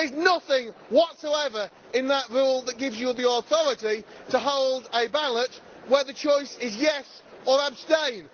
There is nothing whatsoever in that rule that gives you the authority to hold a ballot where the choice is yes' or abstain'.